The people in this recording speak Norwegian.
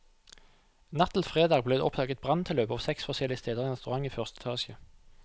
Natt til fredag ble det oppdaget branntilløp på seks forskjellige steder i en restaurant i første etasje.